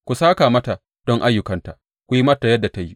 Ku sāka mata don ayyukanta; ku yi mata yadda ta yi.